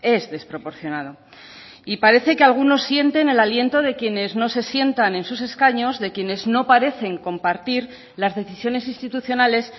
es desproporcionado y parece que algunos sienten el aliento de quienes no se sientan en sus escaños de quienes no parecen compartir las decisiones institucionales